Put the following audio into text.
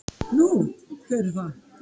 Nú, hver er það?